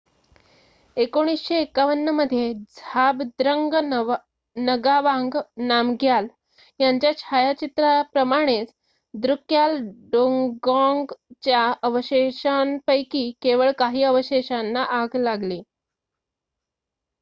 1951 मध्ये झाबद्रंग नगावांग नामग्याल यांच्या छायाचित्राप्रमाणेच द्रुक्याल डोंगॉंगच्या अवशेषांपैकी केवळ काही अवशेषांना आग लागली